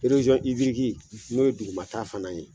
ibiriki n'o ye duguma ta fana ye.